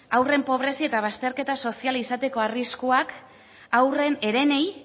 haurren pobrezia eta bazterketa soziala izateko arriskuak haurrei herenei